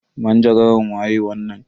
Manjagaran waye wannan?